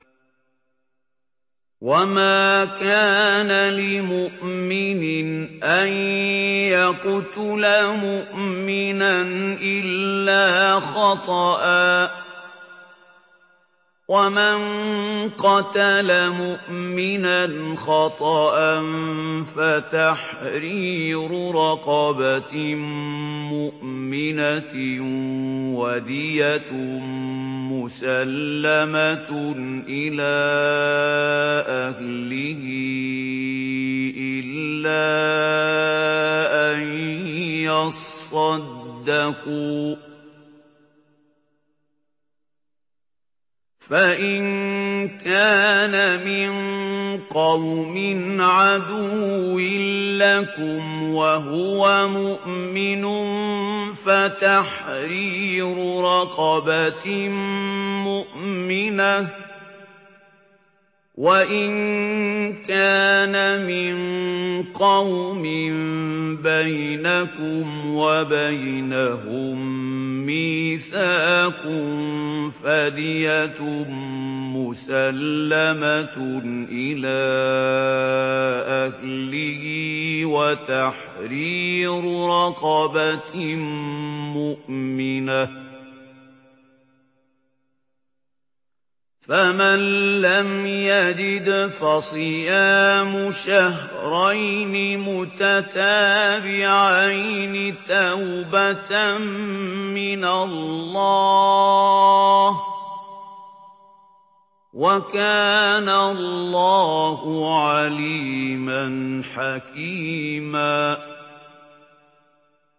وَمَا كَانَ لِمُؤْمِنٍ أَن يَقْتُلَ مُؤْمِنًا إِلَّا خَطَأً ۚ وَمَن قَتَلَ مُؤْمِنًا خَطَأً فَتَحْرِيرُ رَقَبَةٍ مُّؤْمِنَةٍ وَدِيَةٌ مُّسَلَّمَةٌ إِلَىٰ أَهْلِهِ إِلَّا أَن يَصَّدَّقُوا ۚ فَإِن كَانَ مِن قَوْمٍ عَدُوٍّ لَّكُمْ وَهُوَ مُؤْمِنٌ فَتَحْرِيرُ رَقَبَةٍ مُّؤْمِنَةٍ ۖ وَإِن كَانَ مِن قَوْمٍ بَيْنَكُمْ وَبَيْنَهُم مِّيثَاقٌ فَدِيَةٌ مُّسَلَّمَةٌ إِلَىٰ أَهْلِهِ وَتَحْرِيرُ رَقَبَةٍ مُّؤْمِنَةٍ ۖ فَمَن لَّمْ يَجِدْ فَصِيَامُ شَهْرَيْنِ مُتَتَابِعَيْنِ تَوْبَةً مِّنَ اللَّهِ ۗ وَكَانَ اللَّهُ عَلِيمًا حَكِيمًا